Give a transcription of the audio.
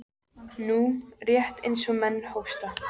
Nú, rétt eins og menn hósta.